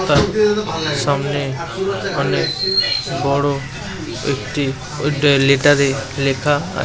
তার সামনে অনেক বড়ো একটি লেটার এ লেখা ।